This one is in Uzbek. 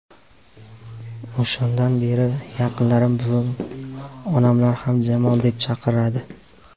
O‘shandan buyon yaqinlarim, buvim, onamlar ham Jamol deb chaqiradi.